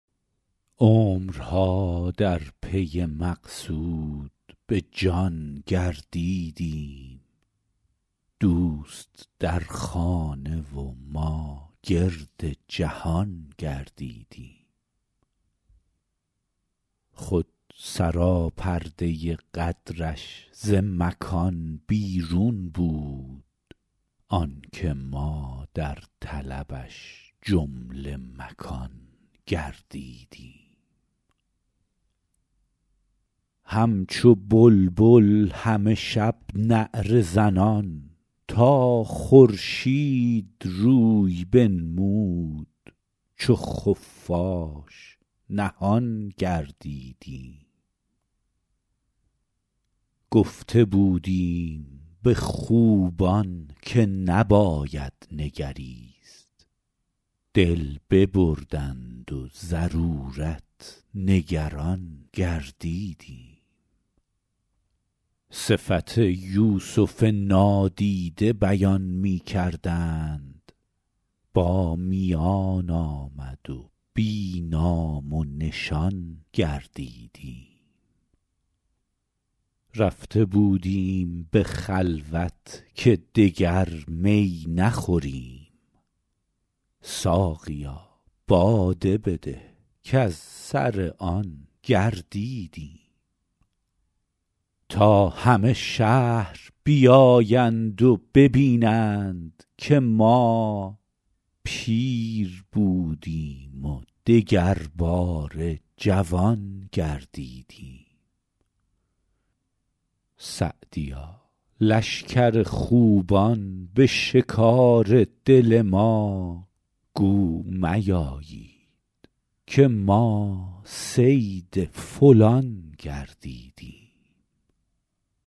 عمرها در پی مقصود به جان گردیدیم دوست در خانه و ما گرد جهان گردیدیم خود سراپرده قدرش ز مکان بیرون بود آن که ما در طلبش جمله مکان گردیدیم همچو بلبل همه شب نعره زنان تا خورشید روی بنمود چو خفاش نهان گردیدیم گفته بودیم به خوبان که نباید نگریست دل ببردند و ضرورت نگران گردیدیم صفت یوسف نادیده بیان می کردند با میان آمد و بی نام و نشان گردیدیم رفته بودیم به خلوت که دگر می نخوریم ساقیا باده بده کز سر آن گردیدیم تا همه شهر بیایند و ببینند که ما پیر بودیم و دگرباره جوان گردیدیم سعدیا لشکر خوبان به شکار دل ما گو میایید که ما صید فلان گردیدیم